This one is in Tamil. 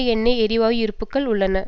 எண்ணெய் எரிவாயு இருப்புக்கள் உள்ளன